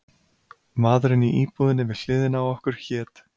Maðurinn í íbúðinni við hliðina á okkur hét